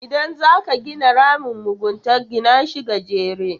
Idan zaka gina ramin mugunta, gina shi gajere.